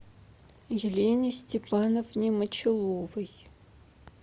елене степановне мочаловой